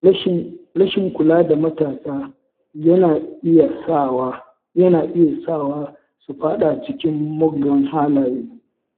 Rashin kula da matasa yana iya sawa su faɗa cikin muggan halaye.